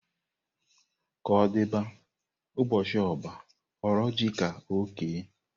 Ka ọ dịba, ụbọchị ọbá hụrụ ji ka ọ kee.